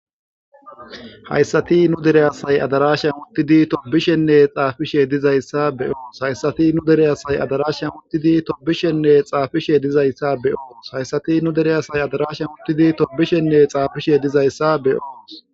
hayssati nu dere asay adarashan uttidi tobishenne xaafishe dizayssa beyoos hayssati nu dere asay adarashan uttidi tobishenne xaafishe dizayssa beyoos hayssati nu dere asay adarashan uttidi tobishenne xaafishe dizayssa beyoos